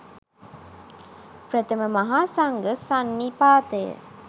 ප්‍රථම මහා සංඝ සන්නිපාතය